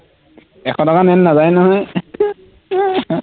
এশ টকা নাযায় নহয়